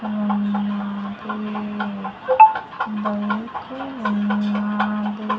అహ్ అది బైకు ఉన్నాది.